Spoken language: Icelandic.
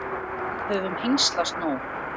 Við höfum hengslast nóg.